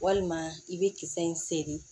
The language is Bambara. Walima i bɛ kisɛ in seri